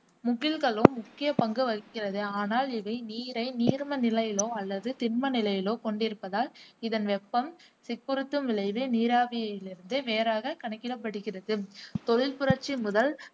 முகில்களும் முக்கிய பங்கு வகிக்கின்றன, ஆனால் இவை நீரை நீர்ம நிலையிலோ அல்லது திண்ம நிலையிலோ கொண்டிருப்பதால் இதன் வெப்பம் சிக்குறுத்தும் விளைவு நீராவியிலிருந்து வேறாக கணிக்கிடப்ப்படுகிறது தொழிற்புரட்சி முதல்